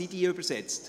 Sind sie übersetzt?